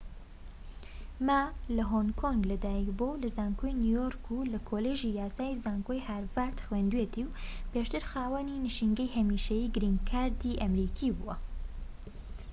ما لە هۆنگ کۆنگ لە دایک بووە و لە زانکۆی نیویۆرك و لە کۆلیژی یاسای زانکۆی هارڤەرد خوێندوویەتی و پێشتر خاوەنی نشینگەی هەمیشەیی گرین کارد"ی ئەمەریکی بووە